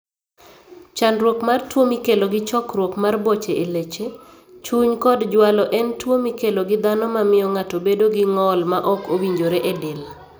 Chandruok mar tuo mikelo gi chokruok mar boche e leche, chuny kod jwalo en tuwo mikelo gi dhano ma miyo ng'ato bedo gi ng'ol maok owinjore e del.